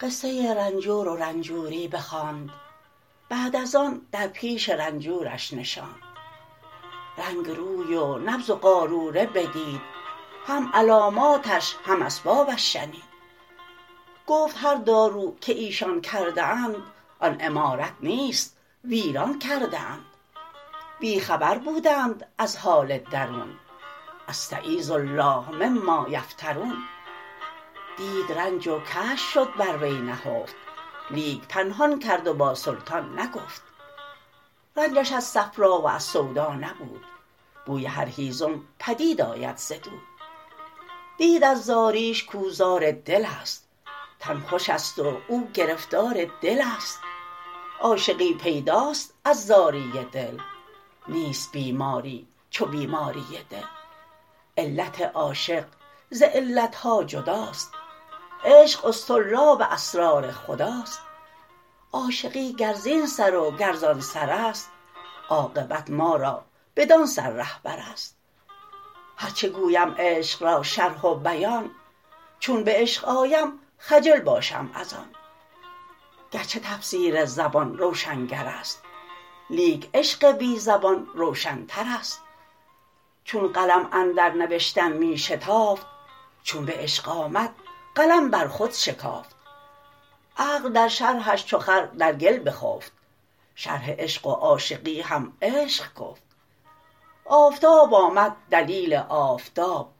قصه رنجور و رنجوری بخواند بعد از آن در پیش رنجورش نشاند رنگ روی و نبض و قاروره بدید هم علاماتش هم اسبابش شنید گفت هر دارو که ایشان کرده اند آن عمارت نیست ویران کرده اند بی خبر بودند از حال درون استـعـیــذ الـله مـمـــا یفـتـــرون دید رنج و کشف شد بر وی نهفت لیک پنهان کرد و با سلطان نگفت رنجش از صفرا و از سودا نبود بوی هر هیزم پدید آید ز دود دید از زاریش کاو زار دلست تن خوشست و او گرفتار دلست عاشقی پیداست از زاری دل نیست بیماری چو بیماری دل علت عاشق ز علت ها جداست عشق اصطرلاب اسرار خداست عاشقی گر زین سر و گر زان سرست عاقبت ما را بدان سر رهبرست هرچه گویم عشق را شرح و بیان چون به عشق آیم خجل باشم از آن گرچه تفسیر زبان روشنگرست لیک عشق بی زبان روشنترست چون قلم اندر نوشتن می شتافت چون به عشق آمد قلم بر خود شکافت عقل در شرحش چو خر در گل بخفت شرح عشق و عاشقی هم عشق گفت آفتاب آمد دلیل آفتاب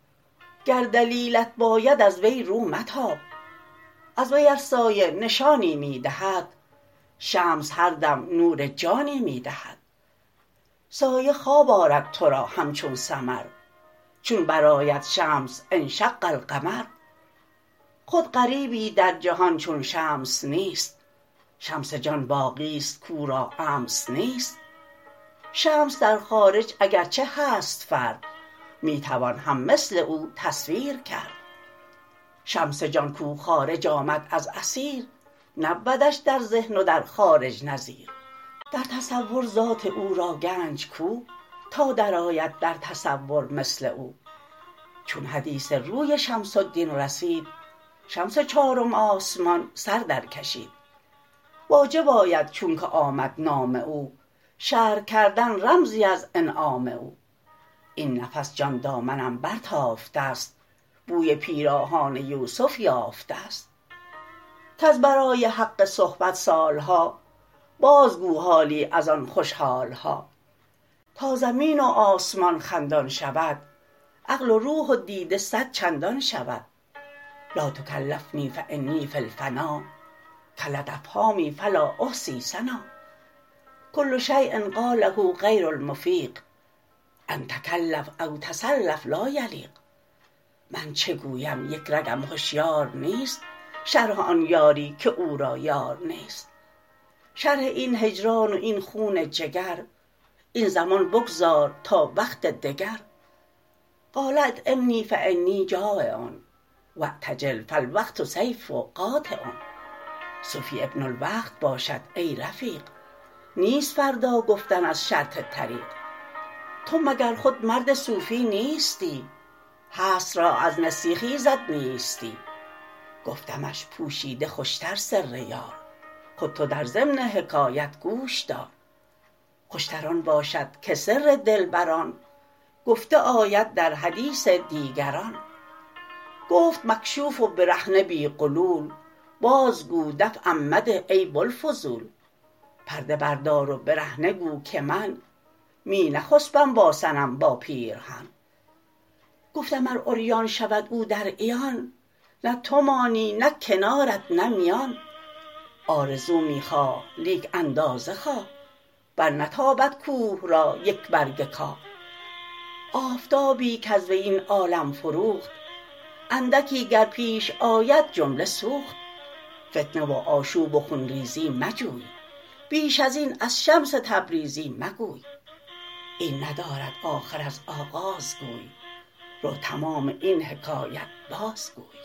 گر دلیلت باید از وی رو متاب از وی ار سایه نشانی می دهد شمس هر دم نور جانی می دهد سایه خواب آرد تو را همچون سمر چون برآید شمس انشق القمر خود غریبی در جهان چون شمس نیست شمس جان باقیی کش امس نیست شمس در خارج اگر چه هست فرد می توان هم مثل او تصویر کرد شمس جان کو خارج آمد از اثیر نبودش در ذهن و در خارج نظیر در تصور ذات او را گنج کو تا درآید در تصور مثل او چون حدیث روی شمس الدین رسید شمس چارم آسمان سر در کشید واجب آید چونکه آمد نام او شرح کردن رمزی از انعام او این نفس جان دامنم برتافته ست بوی پیراهان یوسف یافته ست کز برای حق صحبت سال ها بازگو حالی از آن خوش حال ها تا زمین و آسمان خندان شود عقل و روح و دیده صدچندان شود لاتکلفنی فانی فی الفنا کلت افهامی فلا احصی ثنا کل شیء قاله غیر المفیق أن تکلف او تصلف لا یلیق من چه گویم یک رگم هشیار نیست شرح آن یاری که او را یار نیست شرح این هجران و این خون جگر این زمان بگذار تا وقت دگر قال اطعمنی فانی جٰایع واعتجل فالوقت سیف قاطع صوفی ابن الوقت باشد ای رفیق نیست فردا گفتن از شرط طریق تو مگر خود مرد صوفی نیستی هست را از نسیه خیزد نیستی گفتمش پوشیده خوش تر سر یار خود تو در ضمن حکایت گوش دار خوش تر آن باشد که سر دلبران گفته آید در حدیث دیگران گفت مکشوف و برهنه بی غلول بازگو دفعم مده ای بوالفضول پرده بردار و برهنه گو که من می نخسپم با صنم با پیرهن گفتم ار عریان شود او در عیان نه تو مانی نه کنارت نه میان آرزو می خواه لیک اندازه خواه برنتابد کوه را یک برگ کاه آفتابی کز وی این عالم فروخت اندکی گر پیش آید جمله سوخت فتنه و آشوب و خون ریزی مجوی بیش ازین از شمس تبریزی مگوی این ندارد آخر از آغاز گوی رو تمام این حکایت بازگوی